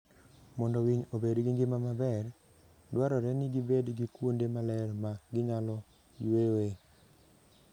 Mondo winy obed gi ngima maber, dwarore ni gibed gi kuonde maler ma ginyalo yueyoe.